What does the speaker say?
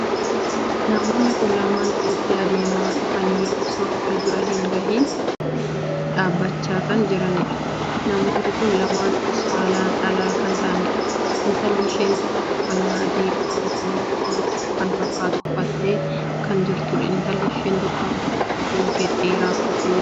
Namoonni kun lamaan walitti adeemaa dhufanii osoo wal bira hin gahiin dhaabbachaa kan jiraniidha. namoonni kun lamaan saalaan dhalaa kan tahaaniidha. intalli isheen tokko uffannaa adii qolooloo kan fakkaatu uffattee kan jirtuudha. intalli isheen tokko ammoo kootii gad dheeraa uffattee jirti.